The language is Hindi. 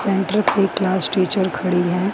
क्लास टीचर खड़ी हैं।